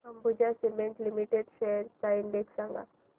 Ambuja cement limited shares चा index सांगा